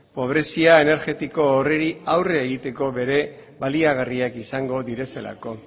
pobrezia energetiko horri aurre egiteko ere baliagarriak izango direlako